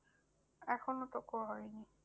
এখনো তো ক হয়নি।